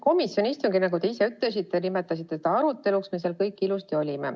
Komisjoni istungil, te ise nimetasite seda aruteluks, me kõik olime ilusasti kohal.